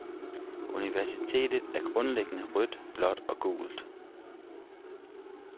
Universet er grundlæggende rødt, blåt og gult.